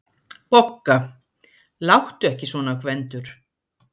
BOGGA: Láttu ekki svona, Gvendur.